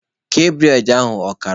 Kee bụredị ahụ ọkara!